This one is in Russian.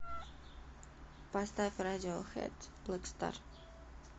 поставь радиохэд блэк стар